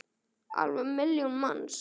Alveg milljón manns!